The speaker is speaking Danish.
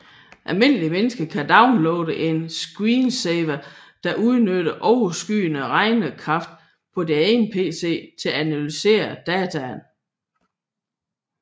Almindelige mennesker kan downloade en screensaver der udnytter overskydende regnekraft på deres egen pc til at analysere dataene